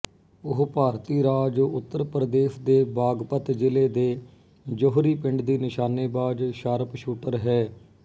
ਉਹ ਭਾਰਤੀ ਰਾਜ ਉੱਤਰ ਪ੍ਰਦੇਸ਼ ਦੇ ਬਾਗਪਤ ਜ਼ਿਲ੍ਹੇ ਦੇ ਜੋਹਰੀ ਪਿੰਡ ਦੀ ਨਿਸ਼ਾਨੇਬਾਜ਼ ਸ਼ਾਰਪਸ਼ੂਟਰ ਹੈ